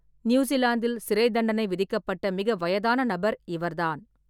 நியூசிலாந்தில் சிறைத்தண்டனை விதிக்கப்பட்ட மிக வயதான நபர் இவர்தான்.